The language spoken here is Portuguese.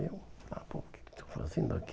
E eu, ah, pô, o que eu estou fazendo aqui?